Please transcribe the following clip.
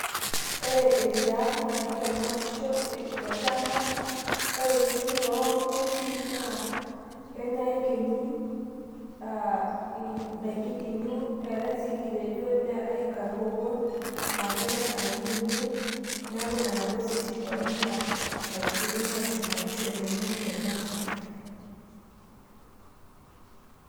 ore eriaa naa kitanyamalisho tolchamba ore sii too ngwesin naa kenya iyekenyik aa ndaikin teun neetae sii nkitejon ,neetae nkarbobon naa kenya irnganayio teniun neaku nena ngwesin oshi onena kaitubulu naisumbuarisho teniun tolchamba.